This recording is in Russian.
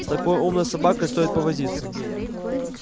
с такой умной собакой стоит повозиться